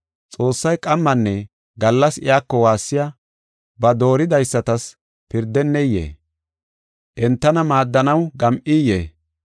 Xoossay qammanne gallas iyako waassiya ba dooridaysatas pirdeneyee? Entana maaddanaw gam7iyee?